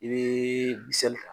I bee disɛli ta